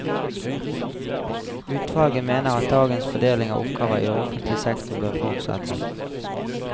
Utvalget mener at dagens fordeling av oppgaver i offentlig sektor bør fortsette.